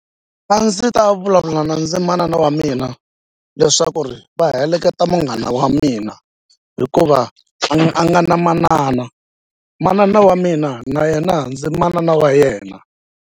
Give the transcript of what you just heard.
A ndzi ta vulavula na ndzi manana wa mina leswaku ri va heleketa munghana wa mina hikuva a nga na manana manana wa mina na yena ndzi manana wa yena.